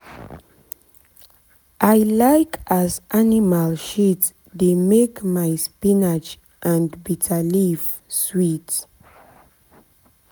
i like as animal shit dey make my spinach and bitterleaf sweet.